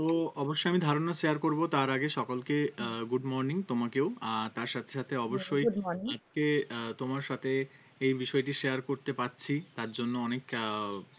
তো অবশ্য আমি ধারণা share করবো তার আগে সকলকে আহ good morning তোমাকেও আর তার সাথে সাথে অবশ্যই good morning আজকে আহ তোমার সাথে এই বিষয়টি share করতে পারছি তার জন্য অনেক আহ মানে